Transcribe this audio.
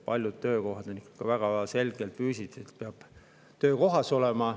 Paljud tööd on sellised, et peab ikka füüsiliselt töökohas olema.